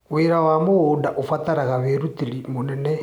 Wĩra wa mũgũnda ũrabatara wĩrutĩri mũnene.